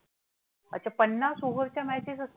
अच्छा! पन्नास over च्या matches असतात?